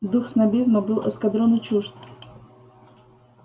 дух снобизма был эскадрону чужд